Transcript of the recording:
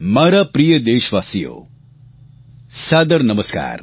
મારા પ્રિય દેશવાસીઓ સાદર નમસ્કાર